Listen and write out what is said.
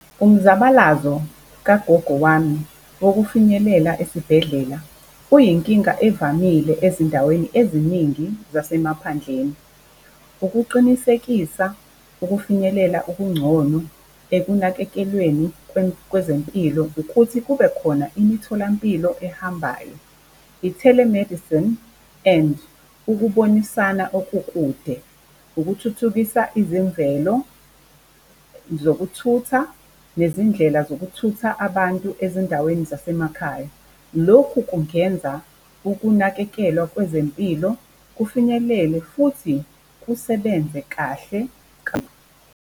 Umzabalazo kagogo wami wokufinyelela esibhedlela uyinkinga evamile ezindaweni eziningi zasemaphandleni. Ukuqinisekisa ukufinyelela okungcono ekunakekelweni kwezempilo ukuthi kubekhona imitholampilo ehambayo. I-telemedicine and ukubonisana okude, ukuthuthukisa izemvelo zokuthutha, nezindlela zokuthutha abantu ezindaweni zasemakhaya. Lokhu kungenza ukunakekelwa kwezempilo kufinyelele futhi kusebenze kahle.